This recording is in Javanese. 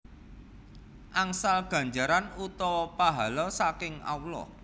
Angsal ganjaran utawa pahala saking Allah